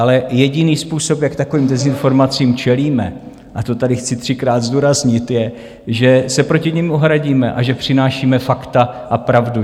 Ale jediný způsob, jak takovým dezinformacím čelíme, a to tady chci třikrát zdůraznit, je, že se proti nim ohradíme a že přinášíme fakta a pravdu.